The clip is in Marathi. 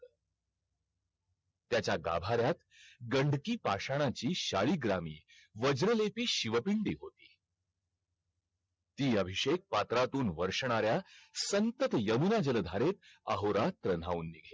तुमचं college वेगळय आमचं college वेगळंय तुमचं private ये आमच government हाय ना university through तर त्यामुळे आम्हाला ,